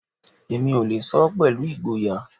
Èmi ò lè sọ pẹ̀lú ìgboyà